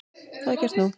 Það er gert nú.